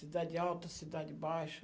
Cidade alta, cidade baixa.